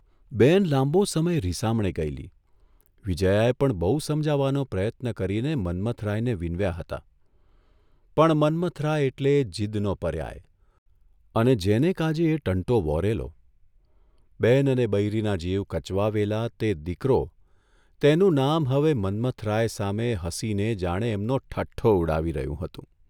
બહેન લાંબો સમય રિસામણે ગયેલી, વિજયાએ પણ બહુ સમજાવવાનો પ્રયત્ન કરીને મન્મથરાયને વિનવ્યા હતા, પણ મન્મથરાય એટલે જીદનો પર્યાય અને જેને કાજે એ ટંટો વહોરેલો, બહેન અને બૈરીના જીવ કચવાવેલા તે દીકરો તેનું નામ હવે મન્મથરાય સામે હસીને જાણે એમનો ઠઠ્ઠો ઊડાવી રહ્યું હતું.